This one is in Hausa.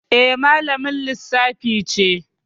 Eh, malamin Lissafi ce